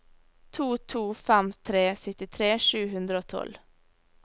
to to fem tre syttitre sju hundre og tolv